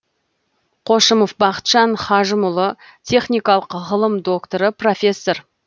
қошымов бақытжан хажымұлы техникалық ғылым докторы профессор